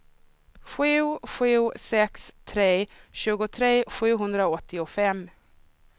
sju sju sex tre tjugotre sjuhundraåttiofem